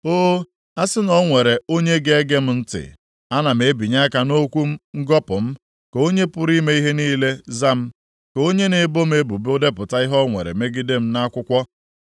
(“O, a sị na o nwere onye ga-ege m ntị! Ana m ebinye aka m nʼokwu ngọpụ m, ka Onye pụrụ ime ihe niile za m, ka onye na-ebo m ebubo depụta ihe o nwere megide m nʼakwụkwọ.